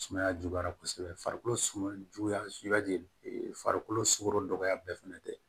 Sumaya juguyara kosɛbɛ farikolo sumaya juguya suba de farikolo sugoro dɔgɔya bɛɛ fɛnɛ tɛ